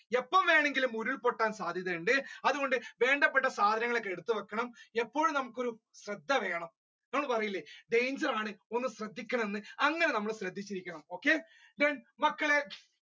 എപ്പോൾ വേണമെങ്കിലും ഉരുൾപൊട്ടാൻ സാധ്യത ഉണ്ട് അതുകൊണ്ട് വേണ്ടപ്പെട്ട സാധനങ്ങൾ ഒക്കെ എടുത്ത് വെക്കണം ഇപ്പോഴും നമ്മുക്ക് ഒരു ശ്രദ്ധ വേണം നിങ്ങൾ പറയില്ലേ danger ആണ് ഒന്ന് ശ്രദ്ധിക്കകണ എന്ന് അങ്ങനെ നമ്മൾ ശ്രദ്ധിച്ചിരിക്കണം okay then